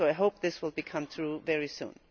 so I hope this will come through very soon.